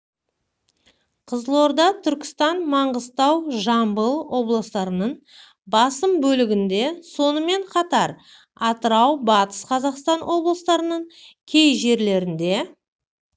қызылорда түркістан маңғыстау жамбыл облыстарының басым бөлігінде сонымен қатар атырау батыс қазақстан облыстарының кей жерлерінде